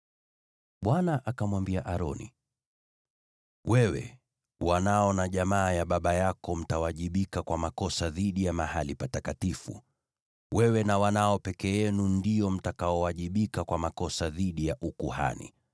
Bwana akamwambia Aroni, “Wewe, wanao na jamaa ya baba yako mtawajibika kwa makosa dhidi ya mahali patakatifu, na wewe na wanao peke yenu ndio mtakaowajibika kwa makosa dhidi ya ukuhani.